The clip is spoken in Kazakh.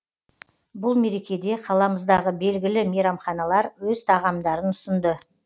бұл мерекеде қаламыздағы белгілі мейрамханалар өз тағамдарын ұсынды